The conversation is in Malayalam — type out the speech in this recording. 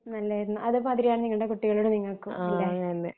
നല്ലയായിരുന്നു അതുമാതിരി നിങ്ങള് നിങ്ങടെ കുട്ടികളോടും നിങ്ങക്കും അല്ലെ